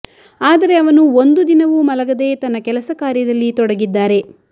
ಆದರೆ ಅವನು ಒಂದು ದಿನವೂ ಮಲಗದೇ ತನ್ನ ಕೆಲಸ ಕಾರ್ಯದಲ್ಲಿ ತೊಡಗಿದ್ದಾರೆ